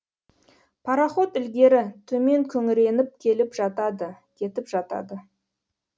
пароход ілгері төмен күңіреніп келіп жатады кетіп жатады